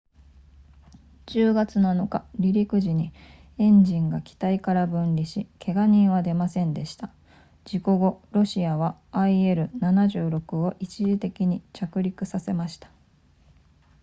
10月7日離陸時にエンジンが機体から分離しけが人は出ませんでした事故後ロシアは il-76 を一時的に着陸させました